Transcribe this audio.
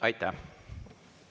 Aitäh!